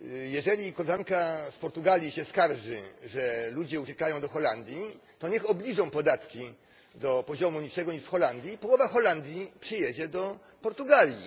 Jeżeli koleżanka z Portugalii się skarży, że ludzie uciekają do Holandii, to niech obniżą podatki do poziomu niższego niż w Holandii połowa Holandii przyjedzie do Portugalii.